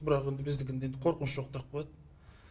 бірақ енді біздікінде енді қорқыныш жоқ деп қояды